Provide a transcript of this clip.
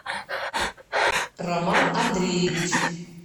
роман андреевич